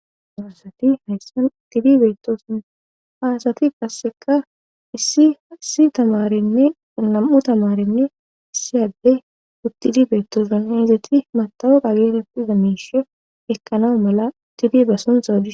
Dorsati hayssan uttidi beetooson haasati passeka issi aissi tamarenne nam7u tamarenne isiyadde uttidi beettooson hezati matawada geerepida miishe ekanao mala tidi ba sunta au.